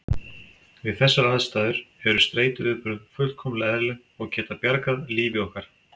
Við þessar aðstæður eru streituviðbrögð fullkomlega eðlileg og geta bjargað lífi okkar.